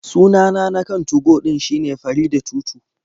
Sunana na kan 2go shine Faridah22.